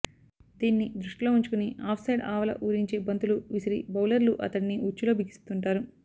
దీన్ని దృష్టిలో ఉంచుకుని ఆఫ్సైడ్ ఆవల ఊరించే బంతులు విసిరి బౌలర్లు అతడిని ఉచ్చులో బిగిస్తుంటారు